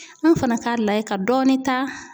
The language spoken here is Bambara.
An fana k'a lajɛ ka dɔɔnin ta